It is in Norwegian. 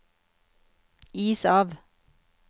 is av